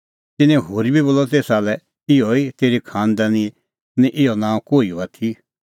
तिन्नैं होरी बोलअ तेसा लै इहअ तेरी खांनदानी निं इहअ नांअ कोहिओ आथी